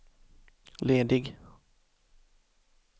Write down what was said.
ledig